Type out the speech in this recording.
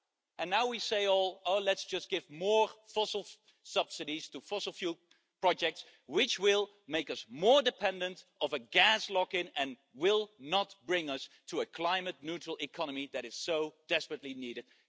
And now we say oh, let's just give more fossil subsidies to fossil fuel projects which will make us more dependent of a gas lock in and will not bring us to a climate neutral economy that is so desperately needed.